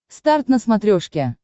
старт на смотрешке